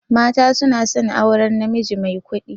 Mata suna son aurar najimi mai kuɗi.